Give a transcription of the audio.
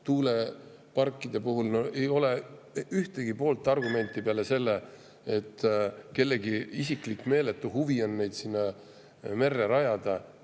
Tuuleparkide puhul ei ole ühtegi pooltargumenti peale selle, et kellegi isiklik meeletu huvi on neid merre rajada.